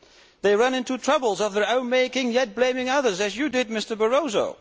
They run into troubles of their own making yet blame others, as you did, Mr Barroso.